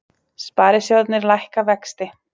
Sparisjóðirnir lækka vexti